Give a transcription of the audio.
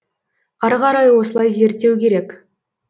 ары қарай осылай зерттеу керек